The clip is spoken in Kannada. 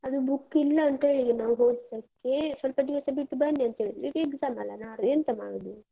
ಅದು book ಇಲ್ಲ ಅಂತ ಹೇಳಿದ್ರು ನಾವು ಹೋದದ್ದಕ್ಕೆ, ಸ್ವಲ್ಪ ಬಿಟ್ಟು ಬನ್ನಿ ಅಂತ ಹೇಳಿದ್ರು ಈಗ exam ಅಲ ನಾಳೆ ಎಂತ ಮಾಡುದು?